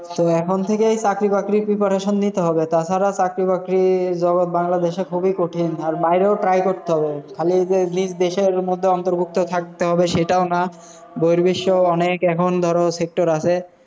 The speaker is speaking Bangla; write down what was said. So এখন থেকেই চাকরি বাকরির preparation নিতে হবে, তা ছাড়া চাকরি বাকরির জগৎ বাংলাদেশে খুবই কঠিন। আর বাইরেও try করতে হবে, খালি যে নিজ দেশের মধ্যে অন্তর্ভুক্ত থাকতে হবে সেটাও না, বহির্বিশ্বে অনেক এখন ধরো sector আসে।